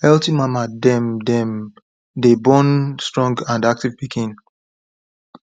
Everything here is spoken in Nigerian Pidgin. healthy mama dem dem day born strong and active piken